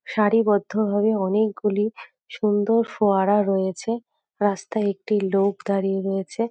সাঁরিবদ্ধ ভাবে অনেকগুলি সুন্দর ফোয়ারা রয়েছে রাস্তায় একটি লোক দাঁড়িয়ে রয়েছে ।